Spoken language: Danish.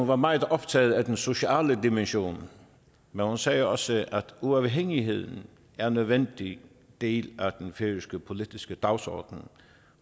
var meget optaget af den sociale dimension men hun sagde også at uafhængigheden er en nødvendig del af den færøske politiske dagsorden